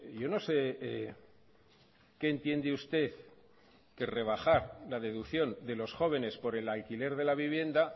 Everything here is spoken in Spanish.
yo no sé qué entiende usted que rebajar la deducción de los jóvenes por el alquiler de la vivienda